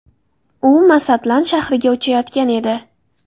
U Masatlan shahriga uchayotgan edi.